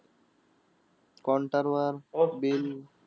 Counter वर bill.